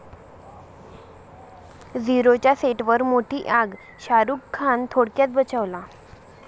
झीरो'च्या सेटवर मोठी आग, शाहरूख खान थोडक्यात बचावला